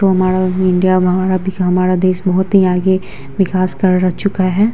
हमारा इंडिया हमारा भी हमारा देश बहोत ही आगे विकाश कर चुका है।